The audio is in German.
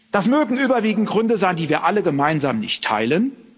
Das mögen überwiegend Gründe sein, die wir alle gemeinsam nicht teilen.